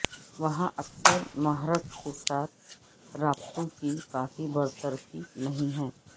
وہاں اکثر محرک کے ساتھ رابطوں کی کافی برطرفی نہیں ہے